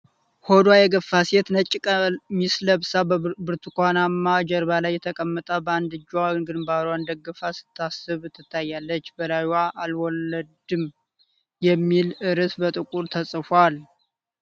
ሆዷ የገፋ ሴት ነጭ ቀሚስ ለብሳ በብርቱካናማ ጀርባ ላይ ተቀምጣ በአንድ እጇ ግንባሯን ደግፋ ስታስብ ትታያለች፤ በላዩም “አልወለድም” የሚል ርዕስ በጥቁር ተጽፏል።